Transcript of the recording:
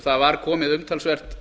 það var komið umtalsvert